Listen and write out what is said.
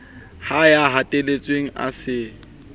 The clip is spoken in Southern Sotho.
ha ya hatelletsweng a se